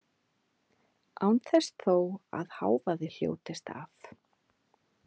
Án þess þó að hávaði hljótist af.